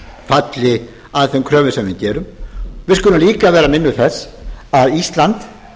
falli að þeim kröfum sem við gerum við skulum líka vera minnug þess að ísland